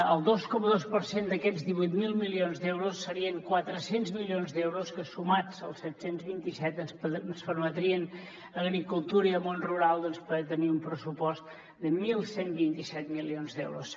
el dos coma dos per cent d’aquests divuit mil milions d’euros serien quatre cents milions d’euros que sumats als set cents i vint set ens permetrien a agricultura i al món rural poder tenir un pressupost de onze vint set milions d’euros